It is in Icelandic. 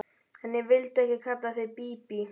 En ég vildi ekki kalla þig Bíbí.